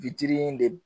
de